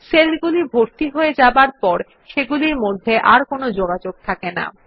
সেলগুলি ভর্তি হয়ে যাবার পর সেগুলির মধ্যে আর কোনো যোগাযোগ থাকে না